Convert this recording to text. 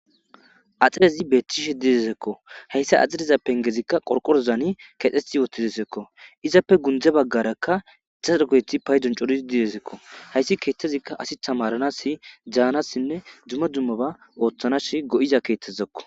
axirezi beetishe dizessikko hayssa axireza pengezikka qorqorozaani kexxethi uttidesekko izappe gundze baggarakka daro keethi paydon coridi dezesikko hayssi keettezikka asi tamaranasi daanassinne dumma dummaba ooththanassi go7iza keettezakko.